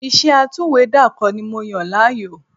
Iṣẹ́ atúwèédàkọ ni mo yàn láàyò